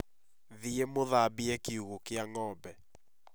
Thiĩ mũthambie kĩugo kĩa ng'ombe